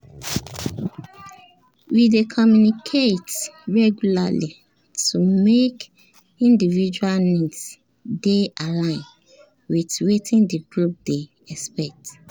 we dey communicate regularly to make individual needs dey align with wetin the group dey expect